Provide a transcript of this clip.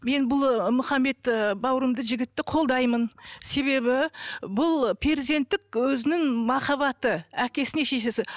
мен бұл ы мұхаммед ыыы бауырымды жігітті қолдаймын себебі бұл перзенттік өзінің махаббаты әкесіне шешесі